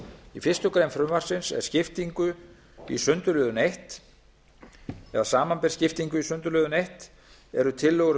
í fyrstu grein frumvarpsins er skiptingu í sundurliðun einn eða samanber skiptingu í sundurliðun eins eru tillögur um